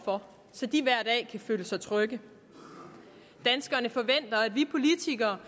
for så de hver dag kan føle sig trygge danskerne forventer at vi politikere